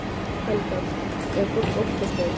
Helga: Er fólk óttaslegið?